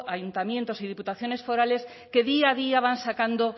ayuntamientos y diputaciones forales que día a día van sacando